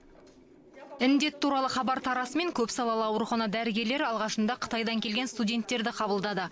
індет туралы хабар тарасымен көпсалалы аурухана дәрігерлері алғашында қытайдан келген студенттерді қабылдады